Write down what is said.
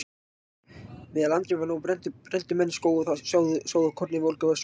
Meðan landrými var nóg brenndu menn skóg og sáðu korni í volga öskuna.